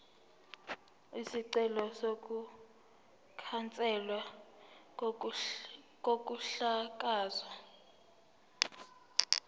isicelo sokukhanselwa kokuhlakazwa